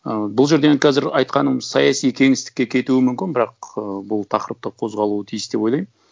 ы бұл жерден қазір айтқаным саяси кеңістікке кетуі мүмкін бірақ ы бұл тақырыпты қозғалуы тиіс деп ойлаймын